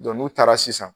n'u taara sisan